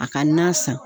A ka na san